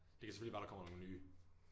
Det kan selvfølgelig være der kommer nogen nye